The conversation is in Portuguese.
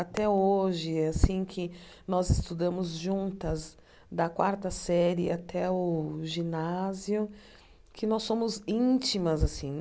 Até hoje, é assim que nós estudamos juntas, da quarta série até o ginásio, que nós somos íntimas assim.